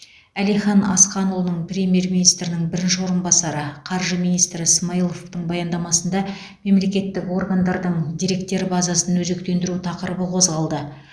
әлихан асханұлының премьер министрінің бірінші орынбасары қаржы министрі смайыловтың баяндамасында мемлекеттік органдардың деректер базасын өзектендіру тақырыбы қозғалды